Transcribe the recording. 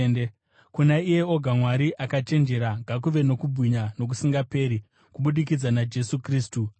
kuna iye oga Mwari akachenjera ngakuve nokubwinya nokusingaperi kubudikidza naJesu Kristu. Ameni.